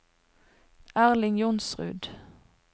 Erling Johnsrud